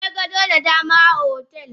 Akwai gado da dama a otel.